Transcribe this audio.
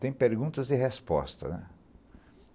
Tem perguntas e respostas, né.